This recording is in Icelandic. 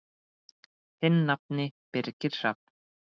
Þinn nafni, Birgir Hrafn.